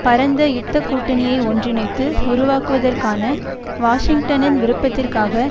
பரந்த யுத்த கூட்டணியை ஒன்றிணைத்து உருவாக்குதற்கான வாஷிங்டனின் விருப்பத்திற்காக